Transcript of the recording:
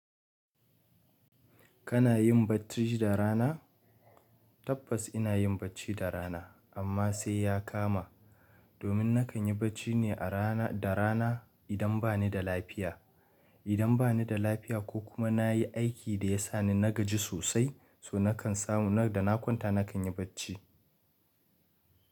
Kana yin bacci da rana? Tabbas ina yin bacci da rana, amma sai ya kama. Domin na kan yi bacci ne a rana da rana idan ba ni da lafiya. Idan ba ni da lafiya ko kuma na yi aiki da ya sa ni na gaji sosai, so na kan samu na da na kwanta na kan yi bacci.